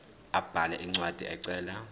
abhale incwadi ecela